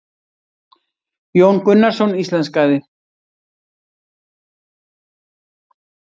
Jón Gunnarsson íslenskaði.